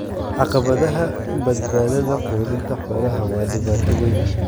Caqabadaha badbaadada quudinta xoolaha waa dhibaato weyn.